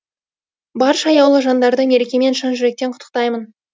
барша аяулы жандарды мерекемен шын жүректен құттықтаймын